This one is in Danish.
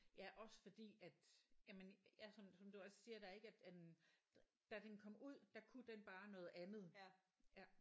Ja også fordi at jamen ja som du som du også siger der at ik at øh da den kom ud der kunne den bare noget andet ja